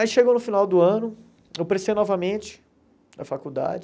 Aí chegou no final do ano, eu prestei novamente a faculdade.